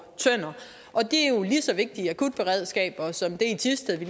tønder og det er jo lige så vigtige akutberedskaber som det i thisted vi